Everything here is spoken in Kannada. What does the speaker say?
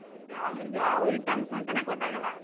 ಯಾವ್ದು ಇದೆ ಯಾವ್ items ಅಂತಾನೆ ಗೊತ್ತಾಗಲ್ಲ.